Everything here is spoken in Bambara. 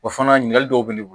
O fana ɲininkali dɔw bɛ ne bolo